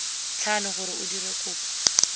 tlhano gore o dire kopo